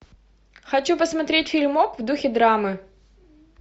хочу посмотреть фильмок в духе драмы